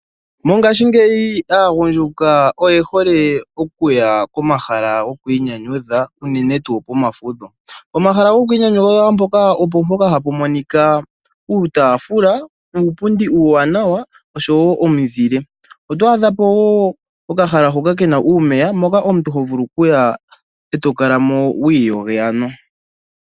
Mongashi ngeyi aagunjuka oyehole okuya komahala gowiinyanyudha unene tuu pomafutho. Omahala gokwiinyanyudha mpoka, opo mpoka hapu adhika uutafula, uupundi uuwanawa osho wo omuzile. Otwadhapo okahala mpoka puna uumeya mpoka omuntu moka omuntu hovulu okuya etokala mo wiiyoge.